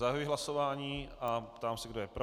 Zahajuji hlasování a ptám se, kdo je pro.